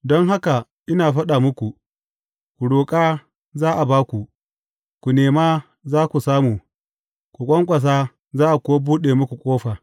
Don haka ina faɗa muku, ku roƙa, za a ba ku, ku nema za ku samu, ku ƙwanƙwasa za a kuwa buɗe muku ƙofa.